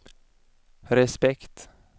respekt